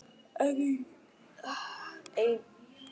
Einu sinni á skóna mína.